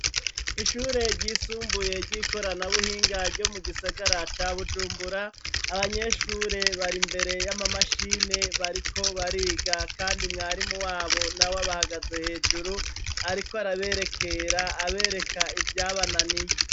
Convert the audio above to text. Ishure ry'isumbuye ry'ikoranabuhinga ryo mu gisagara ca Bujumbura, abanyeshure bari imbere ya mamashine bariko bariga, kandi mwarimu wabo nawe abahagaze hejuru ariko araberekera abereka ivyabananiye.